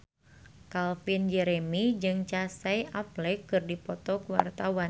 Calvin Jeremy jeung Casey Affleck keur dipoto ku wartawan